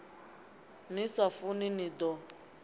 ḽi sa funi ḽi ḓo